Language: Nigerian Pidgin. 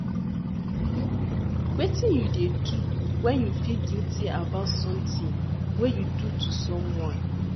Wetin you dey do when you feel guilty about something wey you do to someone?